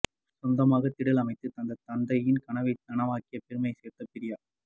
சொந்தமாக திடல் அமைத்துத் தந்த தந்தையின் கனவை நனவாக்கி பெருமை சேர்த்த பிரியா